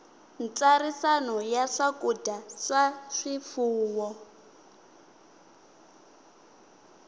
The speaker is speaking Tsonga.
ntsariso ya swakudya swa swifuwo